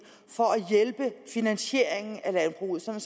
finansieringen af landbruget sådan